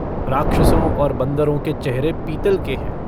राक्षसों और बन्दरों के चेहरे पीतल के हैं।